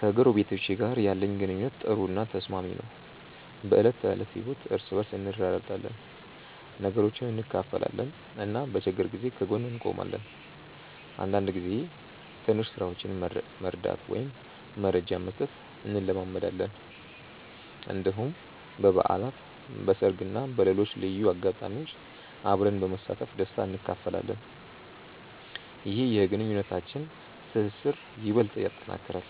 ከጎረቤቶቼ ጋር ያለኝ ግንኙነት ጥሩ እና ተስማሚ ነው። በዕለት ተዕለት ህይወት እርስ በርስ እንረዳዳለን፣ ነገሮችን እንካፈላለን እና በችግር ጊዜ ከጎን እንቆማለን። አንዳንድ ጊዜ ትንሽ ስራዎችን መርዳት ወይም መረጃ መስጠት እንለማመዳለን። እንዲሁም በበዓላት፣ በሰርግ እና በሌሎች ልዩ አጋጣሚዎች አብረን በመሳተፍ ደስታ እንካፈላለን። ይህ የግንኙነታችንን ትስስር ይበልጥ ያጠናክራል።